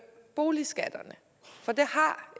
boligskatterne for det har